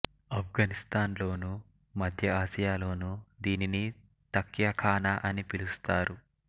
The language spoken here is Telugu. ఆఫ్ఘనిస్తాన్ లోను మధ్య ఆసియా లోనూ దీనిని తక్యాఖానా అని పిలుస్తారు